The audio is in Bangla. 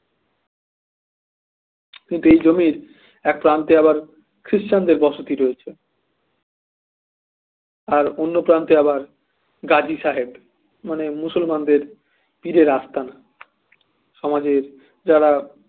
কিন্তু এই জমির এক প্রান্তে আবার খ্রিস্টানদের বসতি রয়েছে আর অন্য প্রান্তে আবার গাজী সাহেব মানে মুসলমানদের পীরের আস্থান আমাদের যারা